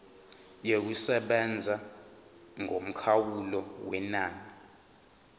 yokusebenza yomkhawulo wenani